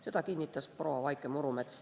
Seda kinnitas proua Vaike Murumets.